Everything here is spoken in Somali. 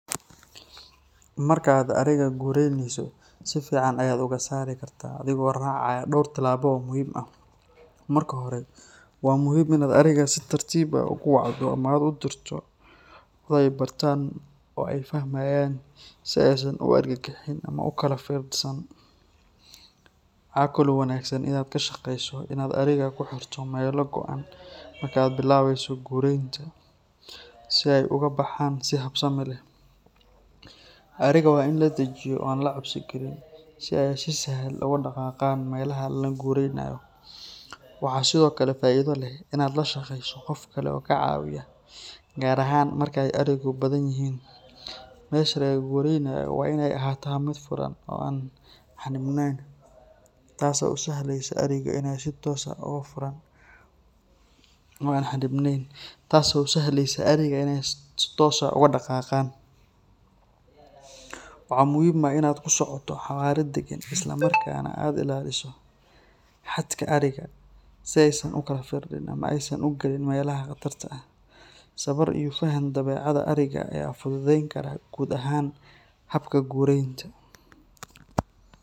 Markaad ariga gureyneyso, si fiican ayaad uga saari kartaa adigoo raacaya dhowr tillaabo oo muhiim ah. Marka hore, waa muhiim inaad ariga si tartiib ah ugu wacdo ama aad u dirto cod ay bartaan oo ay fahmaan, si aysan u argagixin ama u kala firidhsan. Waxaa kale oo wanaagsan inaad ka shaqeyso inaad ariga ku xirto meelo go’an marka aad bilaabeyso gureynta, si ay uga baxaan si habsami leh. Ariga waa in la dejiyo oo aan la cabsi gelin si ay si sahal ah uga dhaqaaqaan meelaha laga gureynayo. Waxaa sidoo kale faa’iido leh in aad la shaqeyso qof kale oo kaa caawiya, gaar ahaan marka ay arigu badan yihiin. Meesha laga gureynayo waa inay ahaataa mid furan oo aan xannibnayn, taasoo u sahlaysa ariga inay si toos ah uga dhaqaaqaan. Waxaa muhiim ah in aad ku socoto xawaare degan isla markaana aad ilaaliso xadka ariga, si aysan u kala firdhin ama aysan u galin meelaha khatarta ah. Sabar iyo faham dabeecadda ariga ayaa fududeyn kara guud ahaan habka gureynta.